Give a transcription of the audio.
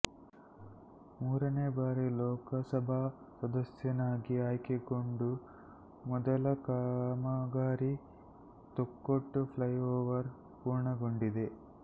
ಮೂರನೇ ಬಾರಿ ಲೋಕಸಭಾ ಸದಸ್ಯನಾಗಿ ಆಯ್ಕೆಗೊಂಡು ಮೊದಲ ಕಾಮಗಾರಿ ತೊಕ್ಕೊಟ್ಟು ಫ್ಲೈಓವರ್ ಪೂರ್ಣಗೊಂಡಿದೆ